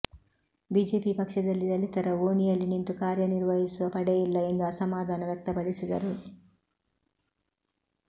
BJP ಪಕ್ಷದಲ್ಲಿ ದಲಿತರ ಓಣಿಯಲ್ಲಿ ನಿಂತು ಕಾರ್ಯನಿರ್ವಹಿಸುವ ಪಡೆಯಿಲ್ಲ ಎಂದು ಅಸಮಾಧಾನ ವ್ಯಕ್ತಪಡಿಸಿದರು